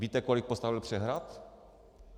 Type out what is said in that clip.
Víte, kolik postavil přehrad?